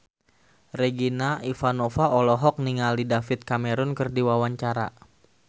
Regina Ivanova olohok ningali David Cameron keur diwawancara